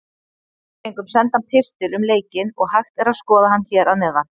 Við fengum sendan pistil um leikinn og hægt er að skoða hann hér að neðan.